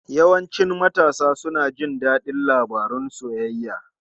Yawancin matasa suna jin daɗin labarun soyayya.